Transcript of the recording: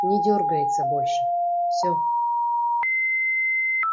не дёргается больше всё